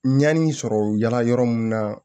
Ɲani sɔrɔ yala yɔrɔ mun na